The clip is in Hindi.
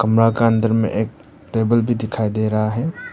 मका अंदर में एक टेबल भी दिखाई दे रहा है।